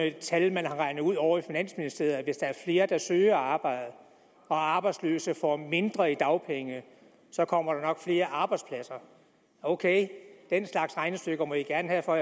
et tal man har regnet ud ovre i finansministeriet at hvis der er flere der søger arbejde og arbejdsløse får mindre i dagpenge kommer der nok flere arbejdspladser ok den slags regnestykker må de gerne have for